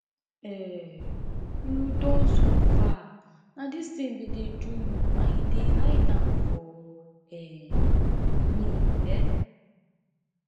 um you don suffer na this thing been dey do you and you dey hide am for um me um